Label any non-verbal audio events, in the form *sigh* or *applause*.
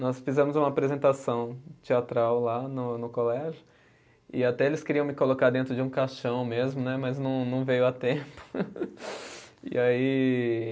Nós fizemos uma apresentação teatral lá no no colégio, e até eles queriam me colocar dentro de um caixão mesmo né, mas não não veio a tempo. *laughs* E aí